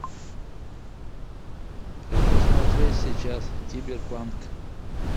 хочу смотреть сейчас киберпанк